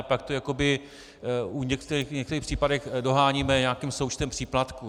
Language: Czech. A pak to jakoby v některých případech doháníme nějakým součtem příplatků.